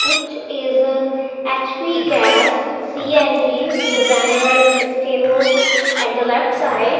it is a HP gas C_N_G the banner is stable at the left side.